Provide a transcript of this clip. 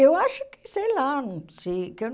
Eu acho que, sei lá, não sei. Que eu